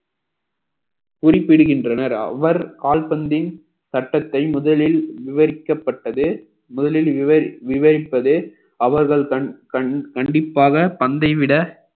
குறிப்பிடுகின்றனர் அவர் கால்பந்தின் சட்டத்தை முதலில் விவரிக்கப்பட்டது முதலில் விவரி~ விவரிப்பது அவர்கள் கண்~ கண்~ கண்டிப்பாக பந்தை விட